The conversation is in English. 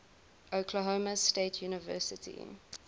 oklahoma state university